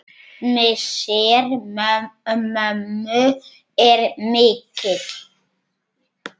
Missir mömmu er mikill.